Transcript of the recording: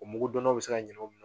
O mugudonnaw bɛ se ka ɲɛna o minɛnw